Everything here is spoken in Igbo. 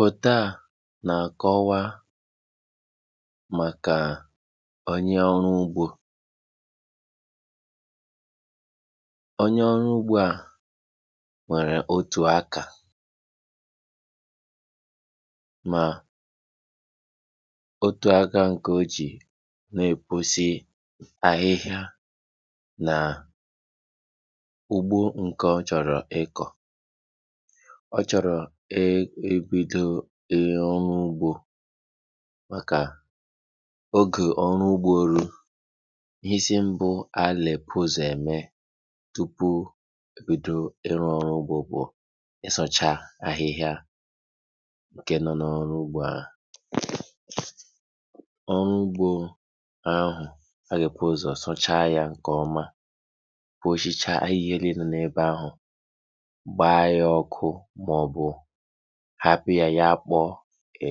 Foto na-akọwa maka onye ọrụ ugbo a nwere otu aka ma otu aka nke ọ si na-ekpochapụ ahịhịa ma ugbo nke chọrọ iko, chọrọ ibido ihe ọrụ ugbo maka oge ọrụ ugbo elu tupu ebido iru ọrụ ugbo bụ isacha ahịhịa nke nọ na ọrụ ugbo a, ọrụ ugbo hụ ga-ebu uzọọ sachaa ya nke ọma